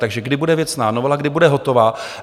Takže kdy bude věcná novela, kdy bude hotová?